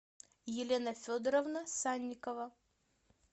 елена федоровна санникова